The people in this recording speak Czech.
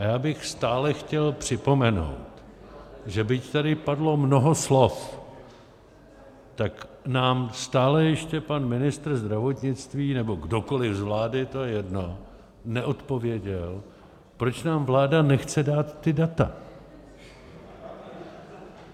A já bych stále chtěl připomenout, že byť tady padlo mnoho slov, tak nám stále ještě pan ministr zdravotnictví nebo kdokoliv z vlády, to je jedno, neodpověděl, proč nám vláda nechce dát ta data.